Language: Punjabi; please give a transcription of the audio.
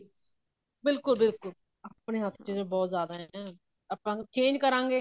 ਬਿਲਕੁੱਲ ਬਿਲਕੁੱਲ ਆਪਣੇ ਹੱਥ ਵਿੱਚ ਬਹੁਤ ਜਿਆਦਾ ਆਪਾਂ change ਕਰਾਂਗੇ